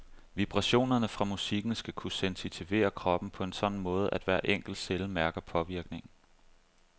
Vibrationerne fra musikken skal kunne sensitivere kroppen på en sådan måde, at hver enkelt celle mærker påvirkningen.